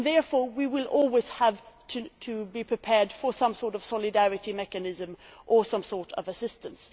Therefore we will always have to be prepared for some sort of solidarity mechanism or some sort of assistance.